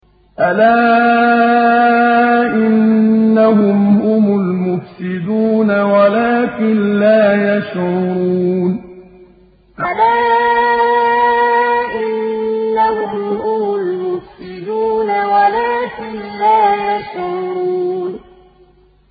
أَلَا إِنَّهُمْ هُمُ الْمُفْسِدُونَ وَلَٰكِن لَّا يَشْعُرُونَ أَلَا إِنَّهُمْ هُمُ الْمُفْسِدُونَ وَلَٰكِن لَّا يَشْعُرُونَ